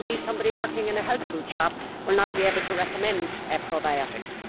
Indeed, somebody working in a health food shop will not be able to recommend probiotics.